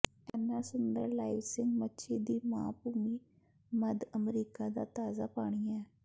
ਇਨ੍ਹਾਂ ਸੁੰਦਰ ਲਾਈਵਿਸਿੰਗ ਮੱਛੀ ਦੀ ਮਾਂ ਭੂਮੀ ਮੱਧ ਅਮਰੀਕਾ ਦਾ ਤਾਜ਼ਾ ਪਾਣੀ ਹੈ